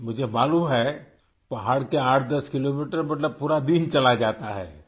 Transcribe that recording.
مجھے معلوم ہے کہ پہاڑ کے 108 کلومیٹر مطلب پورا دن چلا جاتا ہے